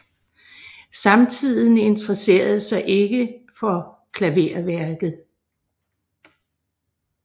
Samtiden interesserede sig ikke for klaverværket